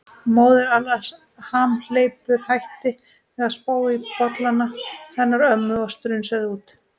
Móðir Alla hamhleypu hætti við að spá í bollann hennar ömmu og strunsaði út.